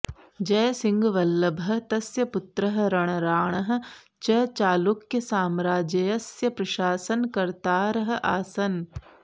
जयसिंहवल्लभः तस्य पुत्रः रणराणः च चालुक्यसाम्राज्यस्य प्रशासनकर्तारः आसन्